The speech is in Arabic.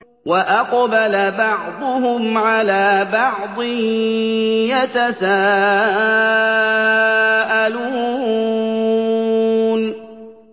وَأَقْبَلَ بَعْضُهُمْ عَلَىٰ بَعْضٍ يَتَسَاءَلُونَ